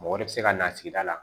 Mɔgɔ wɛrɛ bɛ se ka na sigida la